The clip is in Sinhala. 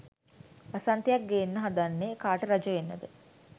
වසන්තයක් ගෙන්න හදන්නේ කාට රජ වෙන්නද